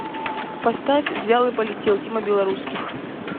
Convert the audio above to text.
поставь взял и полетел тима белорусских